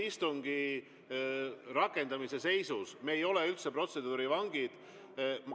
Istungi rakendamise seisus me ei ole üldse protseduuride vangid.